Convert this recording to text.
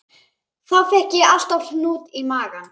Þá fékk ég alltaf hnút í magann.